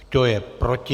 Kdo je proti?